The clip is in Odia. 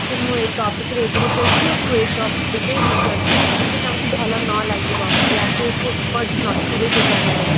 ମୁଁ ଏଇ topic ରେ agree କରୁଛି ଆଉ ତୁ topic ରେ research କର ଯଦି ତାଙ୍କୁ ଭଲ ନ ଲାଗିବ ୟା ଫିର ସେ expert ନଥିବେ ସେ ଜାଗାରେ